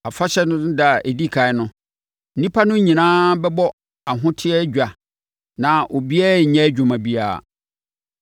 Afahyɛ no ɛda a ɛdi ɛkan no, nnipa no nyinaa bɛbɔ ahoteɛ dwa na obiara renyɛ adwuma biara.